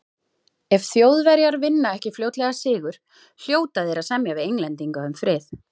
Ef Þjóðverjar vinna ekki fljótlega sigur, hljóta þeir að semja við Englendinga um frið.